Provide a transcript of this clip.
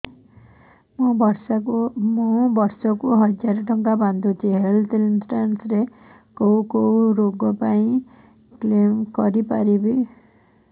ମୁଁ ବର୍ଷ କୁ ହଜାର ଟଙ୍କା ବାନ୍ଧୁଛି ହେଲ୍ଥ ଇନ୍ସୁରାନ୍ସ ରେ କୋଉ କୋଉ ରୋଗ ପାଇଁ କ୍ଳେମ କରିପାରିବି